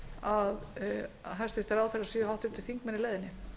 að hæstvirtir ráðherrar séu háttvirtir þingmenn í leiðinni